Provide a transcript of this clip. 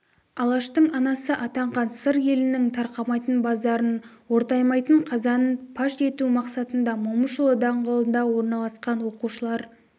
алаштың анасы атанған сыр елінің тарқамайтын базарын ортаймайтын қазанын паш ету мақсатында момышұлы даңғылында орналасқан оқушылар